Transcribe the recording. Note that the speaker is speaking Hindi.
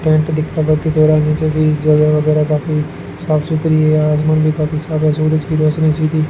यहां नीचे भी जगह वगैरह काफी साफ सुथरी है आसमान भी काफी सादा सूरज की रोशनी सीधी --